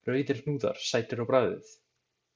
Rauðir hnúðar, sætir á bragðið!